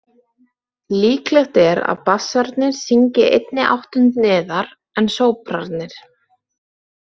Líklegt er að bassarnir syngi einni áttund neðar en sópranarnir.